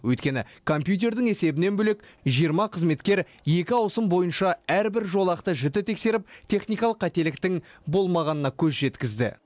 өйткені компьютердің есебінен бөлек жиырма қызметкер екі ауысым бойынша әрбір жолақты жіті тексеріп техникалық қателіктің болмағанына көз жеткізді